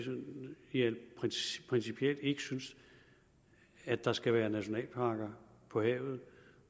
principielt ikke synes at der skal være nationalparker på havet